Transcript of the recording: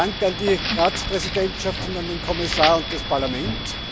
Herzlichen Dank an die Ratspräsidentschaft, an den Kommissar und das Parlament.